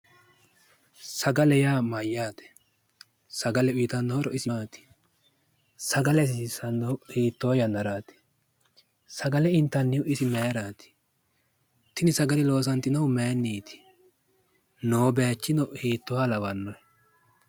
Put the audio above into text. Sagale yaa mayyaate? Sagale uyitanno horo isi maati? Sagale hasiissannohu hiittoo yannaraati? Sagale intannihu isi mayiraati? Tini sagale loosantinohu mayinniiti? Noo bayichino hiittooha lawanno?